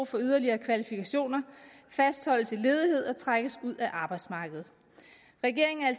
for yderligere kvalifikationer fastholdes i ledighed og trækkes ud af arbejdsmarkedet regeringen er